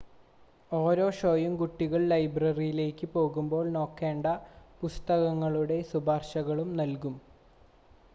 ഓരോ ഷോയും കുട്ടികൾ ലൈബ്രറിയിലേക്ക് പോകുമ്പോൾ നോക്കേണ്ട പുസ്തകങ്ങളുടെ ശുപാർശകളും നൽകും